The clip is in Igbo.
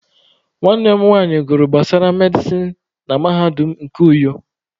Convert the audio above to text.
Nwanne m nwanyị gụrụ gbasara medịsịn na mahadum nke Uyo.